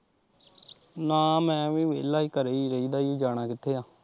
ਨਾ ਮੈਂ ਵੀ ਵਿਹਲਾ ਘਰੇ ਹੀ ਰਹੀਦਾ ਜੀ ਜਾਣਾ ਕਿੱਥੇ ਆ।